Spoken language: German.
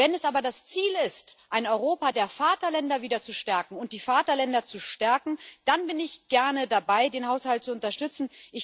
Wenn es aber das Ziel ist, ein Europa der Vaterländer wieder zu stärken und die Vaterländer zu stärken, dann bin ich gerne dabei, den Haushalt zu unterstützen.